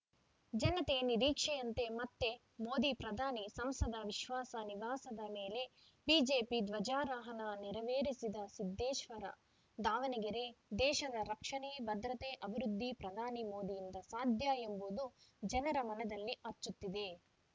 ಜನತೆ ನಿರೀಕ್ಷೆಯಂತೆ ಮತ್ತೆ ಮೋದಿ ಪ್ರಧಾನಿ ಸಂಸದ ವಿಶ್ವಾಸ ನಿವಾಸದ ಮೇಲೆ ಬಿಜೆಪಿ ಧ್ವಜಾರೋಹಣ ನೆರವೇರಿಸಿದ ಸಿದ್ದೇಶ್ವರ ದಾವಣಗೆರೆ ದೇಶದ ರಕ್ಷಣೆ ಭದ್ರತೆ ಅಭಿವೃದ್ಧಿ ಪ್ರಧಾನಿ ಮೋದಿಯಿಂದ ಸಾಧ್ಯ ಎಂಬುದು ಜನರ ಮನದಲ್ಲಿ ಅಚ್ಚೊತ್ತಿದೆ